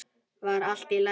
Var allt í lagi?